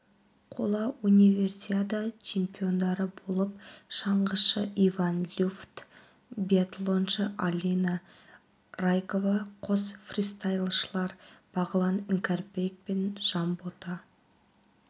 қола универсиада чемпиондары болып шаңғышы иван люфт биатлоншы алина райкова қос фристайлшылар бағлан іңкәрбекпен жанбота